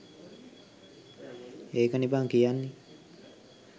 ඒකනේ බං කියන්නේ